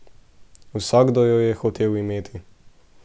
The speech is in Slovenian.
Vsakdo jo je hotel imeti.